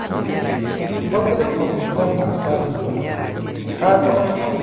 Hũthĩra maguta ma sunflower handũ ha maguta ma nyamũ nĩguo ũnyihanyihie cholesterol.